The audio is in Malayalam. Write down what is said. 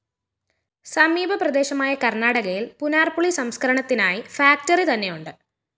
സമീപ പ്രദേശമായ കര്‍ണാടകയില്‍ പുനാര്‍പുളി സംസ്‌ക്കരണത്തിനായി ഫാക്ടറി തന്നെയുണ്ട്